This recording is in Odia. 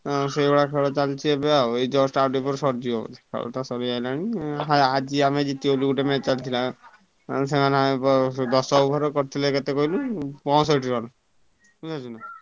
ହଁ ସେଇଭଳିଆ ଖେଳ ଚାଲିଛି ଏବେ ଆଉ ଏଇ just ଆଉ ଟିକେ ପରେ ସରିଯିବ ଖେଲତ ସରିଆଇଲାଣି ହା ଆଜି ଆମେ ଜିତିଗଲୁ ଗୋଟେ match ଚାଲିଥିଲା ଆଉ ସେମାନେ ଦଶ over କରିଥିଲେ କେତେ କହିଲୁ ପଅଁଷଠି run ବୁଝିପାଇଲୁ?